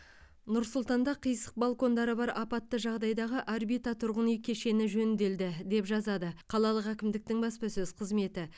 нұр сұлтанда қисық балкондары бар апатты жағдайдағы орбита тұрғын үй кешені жөнделді деп жазады қалалық әкімдіктің баспасөз қызметі